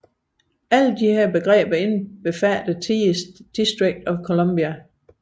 Alle disse begreber indbefatter oftest District of Columbia